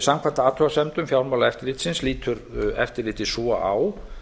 samkvæmt athugasemdum fjármálaeftirlitsins lítur eftirlitið svo á